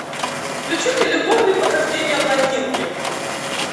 включи мне любовные похождения блондинки